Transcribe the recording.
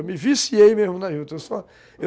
Eu me viciei mesmo na juta, eu só